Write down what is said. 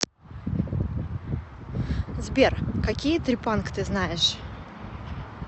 сбер какие трепанг ты знаешь